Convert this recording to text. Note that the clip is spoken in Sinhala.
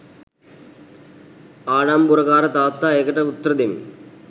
ආඩම්බොරකාර තාත්තා ඒකට උත්‍ර දෙමි.